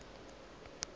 le yena ka go se